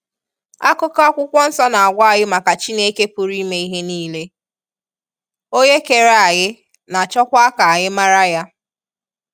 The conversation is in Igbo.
Akụkọ akwụkwọ nsọ a n'agwa anyi maka Chineke pụrụ ime ihe nile, onye kere anyị na chọkwa ka anyị mara ya.